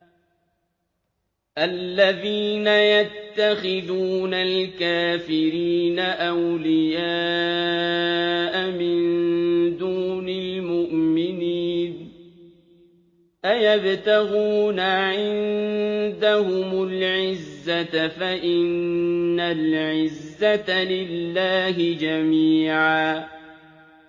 الَّذِينَ يَتَّخِذُونَ الْكَافِرِينَ أَوْلِيَاءَ مِن دُونِ الْمُؤْمِنِينَ ۚ أَيَبْتَغُونَ عِندَهُمُ الْعِزَّةَ فَإِنَّ الْعِزَّةَ لِلَّهِ جَمِيعًا